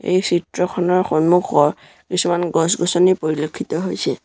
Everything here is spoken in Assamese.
এই চিত্ৰখনৰ সন্মুখত কিছুমান গছ গছনি পৰিলক্ষিত হৈছে।